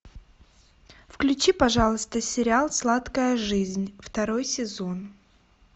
включи пожалуйста сериал сладкая жизнь второй сезон